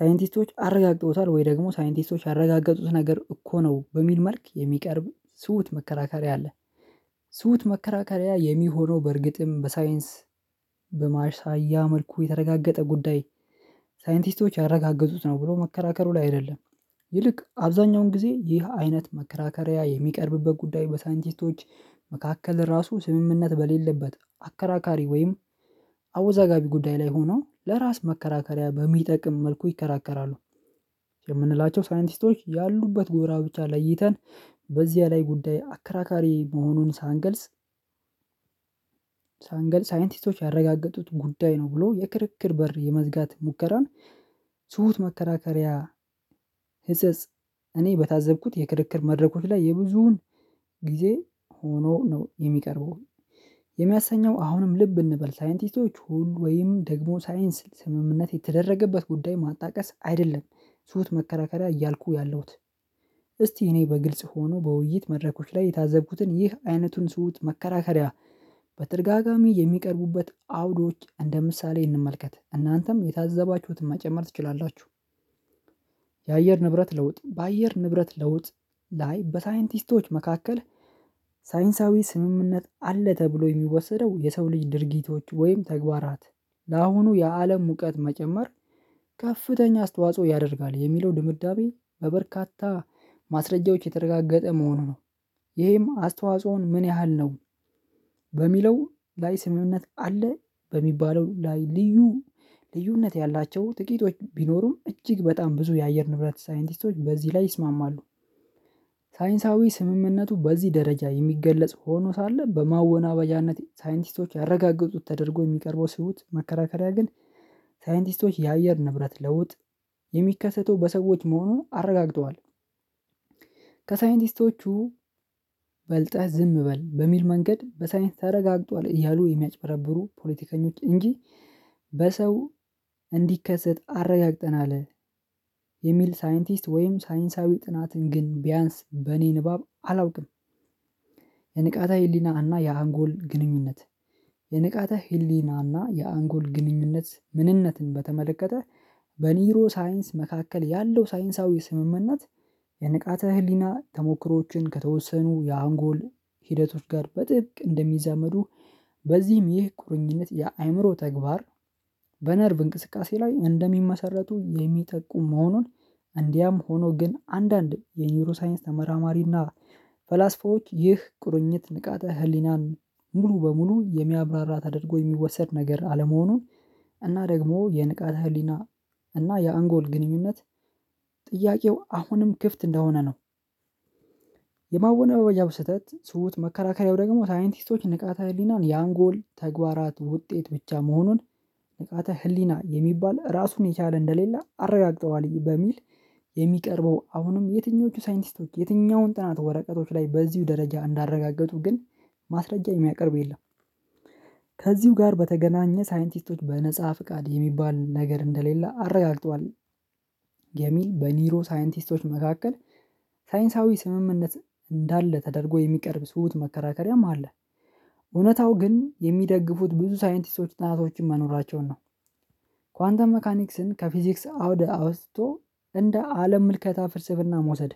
ሳይንቲስቶች አረጋግጠውታል ወይ ደግሞ ሳይንቲስቶች ያረጋገጡት ነገር እኮ ነው በሚል መልክ የሚቀርብ ስውት መከራከሪያ አለ። ትውት መከራከሪያ የሚሆነው በእርግጥም በሳይንስ በማሳያ መልኩ የተረጋገጠ ጉዳይ ሳይንቲስቶች ያረጋገጡት ነው ብሎ መከራከሩ ላይ አይደለም። ይልቅ አብዛኛውን ጊዜ ይህ አይነት መከራከሪያ የሚቀርብበት ጉዳይ በሳይንቲስቶች መካከል ራሱ ስምምነት በሌለበት አከራካሪ ወይም አወዛጋቢ ጉዳይ ላይ ሆኖ ለራስ መከራከሪያ በሚጠቅም መልኩ ይከራከራሉ። የምንላቸው ሳይንቲስቶች ያሉበት ጎራ ብቻ ለይተን በዚህ ላይ ጉዳይ አከራካሪ መሆኑን ሳንገልጽ። ሳንገልጽ ሳይንቲስቶች ያረጋገጡት ጉዳይ ነው ብሎ የክርክር በር የመዝጋት ሙከራን ትሁት መከራከሪያ። ህጸጽ እኔ በታዘብኩት የክርክር መድረኮች ላይ የብዙውን ጊዜ ሆኖ ነው የሚቀርበው። የሚያሰኘው አሁንም ልብ እንበል ሳይንቲስቶች ሁሉ ወይም ደግሞ ሳይንስ ስምምነት የተደረገበት ጉዳይ ማጣቀስ አይደለም ትሁት መከራከሪያ እያልኩ ያለሁት። እስቲ እኔ በግልጽ ሆኖ በውይይት መድረኮች ላይ የታዘብኩትን ይህ አይነቱን ትሁት መከራከሪያ በተደጋጋሚ የሚቀርቡበት አውዶች እንደ ምሳሌ እንመልከት እናንተም የታዘባችሁትን መጨመር ትችላላችሁ። የአየር ንብረት ለውጥ በአየር ንብረት ለውጥ ላይ በሳይንቲስቶች መካከል ሳይንሳዊ ስምምነት አለ ተብሎ የሚወሰደው የሰው ልጅ ድርጊቶች ወይም ተግባራት ለአሁኑ የአለም ሙቀት መጨመር ከፍተኛ አስተዋጽኦ ያደርጋል የሚለው ድምዳቤ በበርካታ ማስረጃዎች የተረጋገጠ መሆኑ ነው። ይሄማ አስተዋጽኦን ምን ያህል ነው? በሚለው ላይ ስምምንነት አለ በሚባለው ላይ ልዩ ልዩነት ያላቸው ጥቂቶች ቢኖሩም እጅግ በጣም ብዙ የአየር ንብረት ሳይንቲስቶች በዚህ ላይ ይስማማሉ። ሳይንሳዊ ስምምነቱ በዚህ ደረጃ የሚገለጽ ሆኖ ሳለ በማወናበጃነት ሳይንቲስቶች ያረጋገጡት ተደርጎ የሚቀርበው ትውት መከራከሪያ ግን ሳይንቲስቶች የአየር ንብረት ለውጥ የሚከሰተው በሰዎች መሆኑን አረጋግጠዋል። ከሳይንቲስቶቹ በልጠህ ዝም በል በሚል መንገድ በሳይንስ ተረጋግጧል እያሉ የሚያጭበረብሩ ፖለቲከኞች እንጂ። በሰው እንዲከሰት አረጋግጠናል የሚል ሳይንቲስት ወይም ሳይንሳዊ ጥናትን ግን ቢያንስ በእኔ ንባብ አላውቅም። የንቃታ ህሊና እና የአንጎል ግንኙነት የንቃተ ህሊና እና የአንጎል ግንኙነት ምንነትን በተመለከተ በኒውሮ ሳይንስ መካከል ያለው ሳይንሳዊ ስምምነት። የንቃተ ህሊና ተሞክሮዎችን ከተወሰኑ የአንጎል ሂደቶች ጋር በጥብቅ እንደሚዛመዱ በዚህም ይህ ቁርኝነት የአእምሮ ተግባር በነርቭ እንቅስቃሴ ላይ እንደሚመሰረቱ የሚጠቁም መሆኑን። እንዲያም ሆኖ ግን አንዳንድ የኒውሮ ሳይንስ ተመራማሪና ፈላስፎዎች ይህ ቁርኝት ንቃተ ህሊናን ሙሉ በሙሉ የሚያብራራ ተደርጎ የሚወሰድ ነገር አለመሆኑን እና ደግሞ የንቃተ ህሊና እና የአንጎል ግንኙነት ጥያቄው አሁንም ክፍት እንደሆነ ነው። የማወናበጃውን ስህተት ስሁት መከራከሪያው ደግሞ ሳይንቲስቶች ንቃተ ህሊናን የአንጎል ተግባራት ውጤት ብቻ መሆኑን ንቃተ ህሊና የሚባል ራሱን የቻለ እንደሌላ አረጋግጠዋል በሚል የሚቀርበው አሁንም የትኞቹ ሳይንቲስቶች የትኛውን ጥናት ወረቀቶች ላይ በዚሁ ደረጃ እንዳረጋገጡ ግን ማስረጃ የሚያቀርብ የለም። ከዚሁ ጋር በተገናኘ ሳይንቲስቶች በነፃ ፍቃድ የሚባል ነገር እንደሌለ አረጋግጧል። የሚል በኒሮ ሳይንቲስቶች መካከል ሳይንሳዊ ስምምነት እንዳለ ተደርጎ የሚቀርብ ትሁት መከራከሪያም አለ። እውነታው ግን የሚደግፉት ብዙ ሳይንቲስቶች ጥናቶችን መኖራቸውን ነው። ኳንተም ሜካኒክስን ከፊዚክስ አውደ አውጥቶ እንደ አለም ምልከታ ፍርስፍና መውሰድ።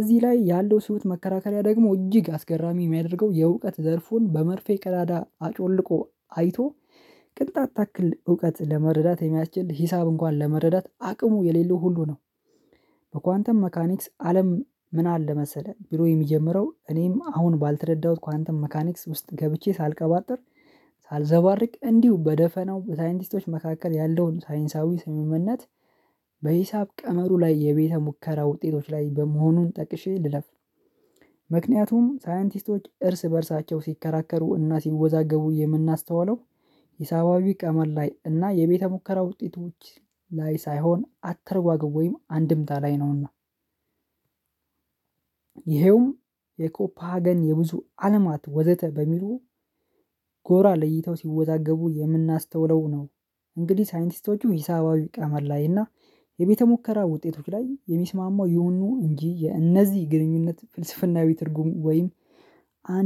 እዚህ ላይ ያለው ትሁት መከራከሪያ ደግሞ እጅግ አስገራሚ የሚያደርገው የእውቀት ዘርፉን በመርፌ ቀዳዳ አጮልቆ አይቶ ቅንጣት ታክል እውቀት ለመረዳት የሚያስችል ሂሳብ እንኳን ለመረዳት አቅሙ የሌለው ሁሉ ነው። በኳንተም መካኒክስ አለም ምን አለ መሰለህ? ብሎ የሚጀምረው እኔም አሁን ባልተረዳሁት ኳንተም ሜካኒክስ ውስጥ ገብቼ ሳልቀባጥር ሳልዘባርቅ እንዲሁ በደፈናው በሳይንቲስቶች መካከል ያለውን ሳይንሳዊ ስምምነት በሂሳብ ቀመሩ ላይ የቤተ ሙከራ ውጤቶች ላይ በመሆኑን ጠቅሼ ልለፍ ነው። ምክንያቱም ሳይንቲስቶች እርስ በእርሳቸው ሲከራከሩ እና ሲወዛገቡ የምናስተዋለው ሂሳባዊ ቀመር ላይ እና የቤተ ሙከራ ውጤቶች ላይ ሳይሆን አትርጓጓም ወይም አንድምታ ላይ ነውና። ይሄውም የኮፓገን የብዙ አለማት ወዘተ በሚሉ ጎራ ለይተው ሲወዛገቡ የምናስተውለው ነው። እንግዲህ ሳይንቲስቶቹ ሂሳባዊ ቀመር ላይ እና የቤተ ሙከራ ውጤቶች ላይ የሚስማማው የሆኑ እንጂ የእነዚህ ግንኙነት ፍልስፍናዊ ትርጉም ወይም አንድ